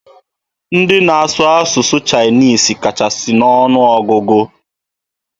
Ndị na-asụ asụsụ Chinese kachasị n'ọnụ ọgụgụ.